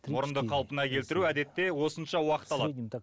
мұрынды қалпына келтіру әдетте осынша уақыт алады